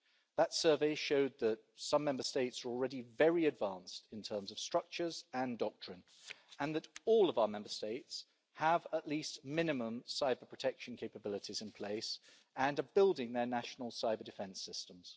That survey showed that some Member States are already very advanced in terms of structures and doctrine and that all of our Member States have at least minimum cyber-protection capabilities in place and are building their national cyber-defence systems.